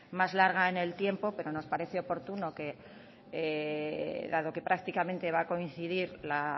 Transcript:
más larga en el tiempo pero nos parece oportuno que dado que prácticamente va a coincidir la